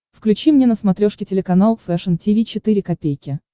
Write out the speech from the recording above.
включи мне на смотрешке телеканал фэшн ти ви четыре ка